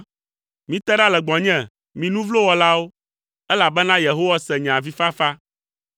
Mite ɖa le gbɔnye, mi nu vlo wɔlawo, elabena Yehowa se nye avifafa.